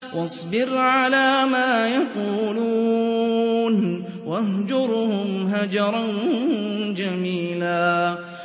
وَاصْبِرْ عَلَىٰ مَا يَقُولُونَ وَاهْجُرْهُمْ هَجْرًا جَمِيلًا